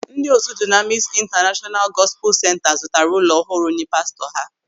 Ndị otu Dụnamịs Intanashọnalu Gọspul Senta zụtara ụlọ ọhụrụ nye pastọ ha.